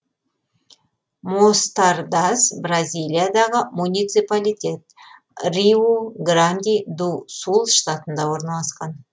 мостардас бразилиядағы муниципалитет риу гранди ду сул штатында орналасқан